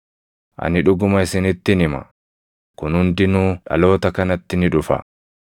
Ani dhuguma isinittin hima; kun hundinuu dhaloota kanatti ni dhufa.